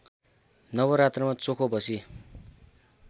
नवरात्रमा चोखो बसी